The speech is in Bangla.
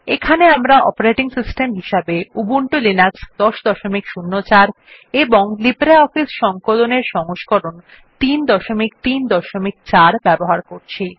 এখানে আমরা অপারেটিং সিস্টেম হিসেবে উবুন্টু লিনাক্স ১০০৪ এবং লিব্রিঅফিস সংকলন এর সংস্করণ ৩৩৪ ব্যবহার করছি